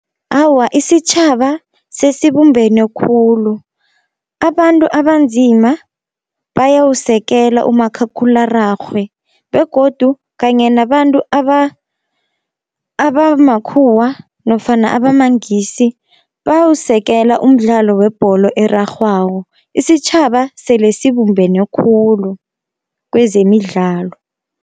Awa isitjhaba sesibumbene khulu abantu abanzima bayawusekela umakhakhulararhwe, begodu kanye nabantu abamakhuwa nofana abamangisi bayawusekela umdlalo webholo erarhwako. Isitjhaba sele sibumbene khulu kwezemidlalo.